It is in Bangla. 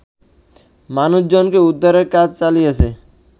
মানুষজনকে উদ্ধারের কাজ চালিয়েছে